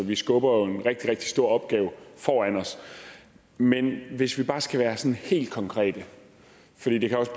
vi skubber jo en rigtig rigtig stor opgave foran os men hvis vi bare skal være sådan helt konkrete for det kan også